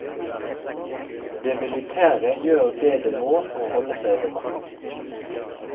Det militære gjør det det må for å holde seg ved makten.